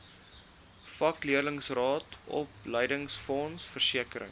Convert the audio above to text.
vakleerlingraad opleidingsfonds versekering